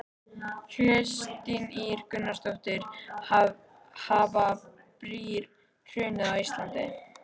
Kristín Ýr Gunnarsdóttir: Hafa brýr hrunið á Íslandi?